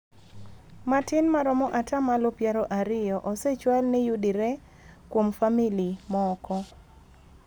Matin maromo ata malo piero ariyo osechwal ni yudire kuom Famili moko.